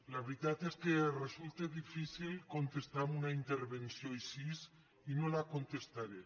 la veritat és que resulta difícil contestar a una intervenció així i no la contestaré